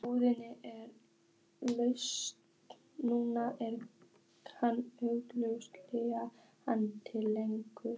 Íbúðin er laus núna og hann auglýsti hana til leigu.